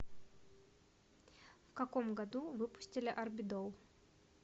в каком году выпустили арбидол